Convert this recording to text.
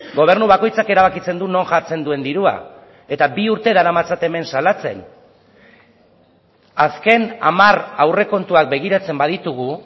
gobernu bakoitzak erabakitzen du non jartzen duen dirua eta bi urte daramatzat hemen salatzen azken hamar aurrekontuak begiratzen baditugu